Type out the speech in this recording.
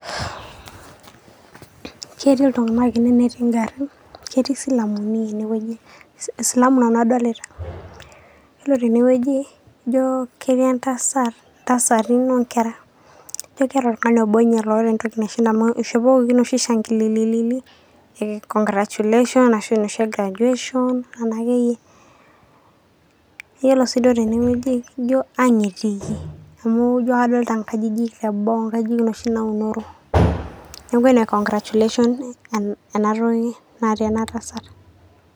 Ketii iltung'anak ine netii ng'arin, ketii silamu naa ene wueji, silamu nanu adolita. Yilo tene wueji ijo ketii entasat, ntasatin o nkera ijo keeta oltung'ani obo nye loota entoki ishopokoki inoshi shangilili e congractulation anashu noshi e graduation, nena akeyie. Iyiolo sii duo tene wueji ijo ang' etiiki amu ijo kadolta nkajijik te boo ijo noshi naunoro. Neeku ene congractulation ena toki naata ena tasat.